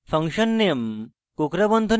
কোঁকড়া বন্ধনীতে